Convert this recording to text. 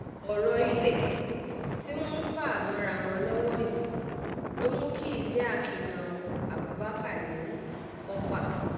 ọ̀rọ̀ ilé tí wọ́n ń fà mọ́ra wọn lọ́wọ́ yìí ló mú kí isiaq na abubakar ní pọ́pá